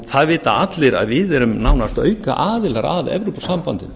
það vita allir að við erum nánast aukaaðilar að evrópusambandinu